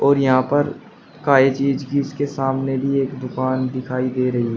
और यहां पर के सामने भी एक दुकान दिखाई दे रही है।